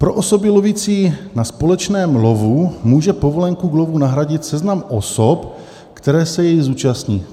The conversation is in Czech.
"Pro osoby lovící na společném lovu může povolenku k lovu nahradit seznam osob, které se jej zúčastní."